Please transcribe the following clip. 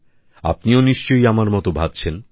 আপনিও নিশ্চয়ই আমার মত ভাবছেন